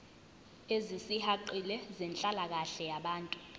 ezisihaqile zenhlalakahle yabantu